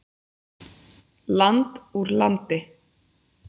Land úr landi.